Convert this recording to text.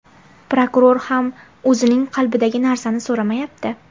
Prokuror ham o‘zining qalbidagi narsani so‘ramayapti.